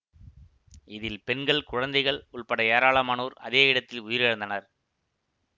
இதில் பெண்கள் குழந்தைகள் உள்பட ஏராளமானோர் அதே இடத்தில் உயிரிழந்தனர்